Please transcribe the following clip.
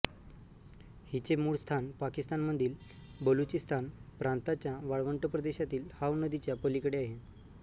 हिचे मूळ स्थान पाकिस्तानमधील बलुचिस्तान प्रांताच्या वाळवंट प्रदेशातील हाव नदीच्या पलीकडे आहे